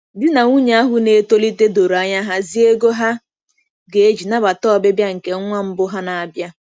Di na nwunye ahụ na-etolite doro anya hazie ego ha ga-eji nabata ọbịbịa nke nwa mbụ ha na-abịa.